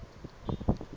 luswayi lumunyu